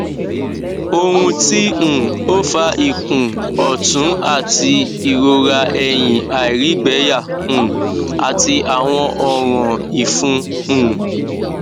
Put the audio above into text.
ohun ti um o fa ikun otun ati irora ehin airigbeya um ati awon oran ifun um